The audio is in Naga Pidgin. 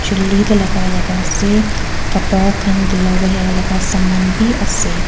chuli te logai laga ase kapara khan dula bole laga saman bhi ase.